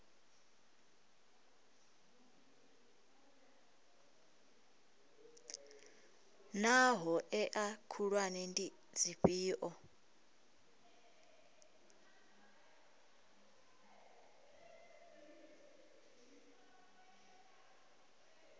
naa hoea khulwane ndi dzifhio